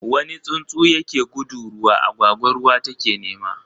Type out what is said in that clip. wani tsuntsu ya ke gudu ruwa, agwagwa ruwa ta ke nema.